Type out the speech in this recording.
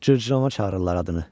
Cırcıramanı çağırırlar adını.